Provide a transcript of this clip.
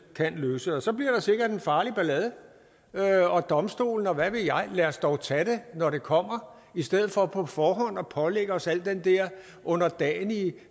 kan løse så bliver der sikkert en farlig ballade og domstolen og hvad ved jeg lad os dog tage det når det kommer i stedet for på forhånd at pålægge os al den der underdanige